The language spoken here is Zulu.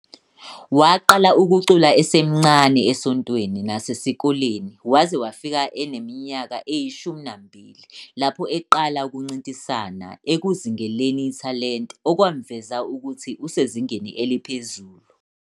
Waqala ukucula esemncane esontweni nasesikoleni waze wafika eneminyaka eyi-12 lapho eqala ukuncintisana ekuzingeleni ithalente okwamveza ukuthi usezingeni eliphezulu.